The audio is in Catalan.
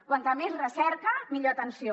quanta més recerca millor atenció